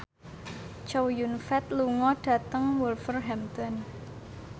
Chow Yun Fat lunga dhateng Wolverhampton